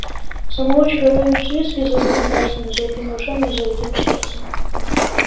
самоучка рувим свицкий с золотыми пальцами золотыми ушами и золотым сердцем